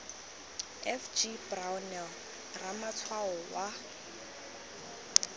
f g brownell ramatshwao wa